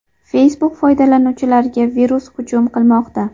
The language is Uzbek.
Facebook foydalanuvchilariga virus hujum qilmoqda.